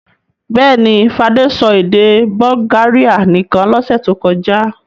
Bẹ́ẹ̀ ni, Fadé sọ èdè Bulgaria nìkan lọ́sẹ̀ tó kọjá.